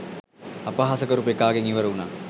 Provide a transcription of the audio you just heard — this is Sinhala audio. අපහාස කරපු එකාගෙන් ඉවර වුනා